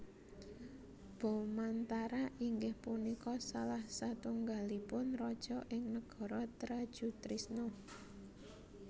Bomantara inggih punika salah satunggalipun raja ing Negara Trajutrisna